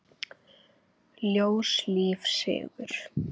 Ljós, líf, sigur.